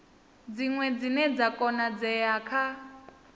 dziṅwe dzine dza konadzea kha